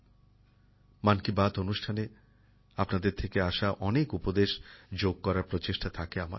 আমি চেষ্টা করি মন কি বাত অনুষ্ঠানে আপনাদের থেকে আসা অনেক পরামর্শ অন্তর্ভুক্ত করতে